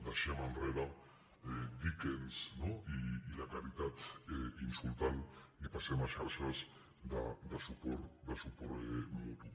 deixem enrere dickens i la caritat insultant i passem a xarxes de suport mutu